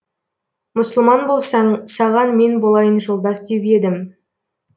мұсылман болсаң саған мен болайын жолдас деп едім